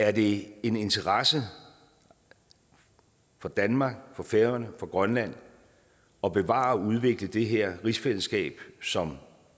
er det en interesse for danmark for færøerne og for grønland at bevare og udvikle det her rigsfællesskab som